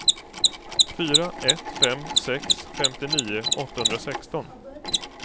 fyra ett fem sex femtionio åttahundrasexton